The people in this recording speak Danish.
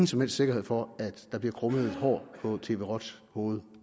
som helst sikkerhed for at der bliver krummet et hår på roj tvs hoved